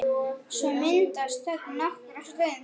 Svo myndast þögn nokkra stund.